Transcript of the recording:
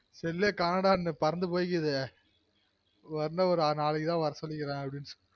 cell ஏ காணொம் அந்த பறந்து போயிக்கிது வந்த நாளைக்கு தான் வர சொல்லிக்கிறன்